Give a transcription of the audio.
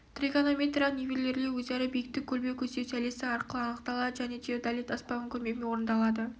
тригонометриялық нивелирлеу өзара биіктік көлбеу көздеу сәулесі арқылы анықталады және теодолит аспабының көмегімен орындалады